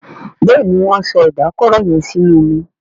Béèni Wón so Ìdákọrò yén sínú omí.